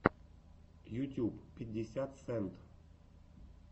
ютюб пятьдесят сент